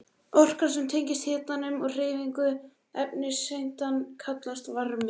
Orkan sem tengist hitanum og hreyfingu efniseindanna kallast varmi.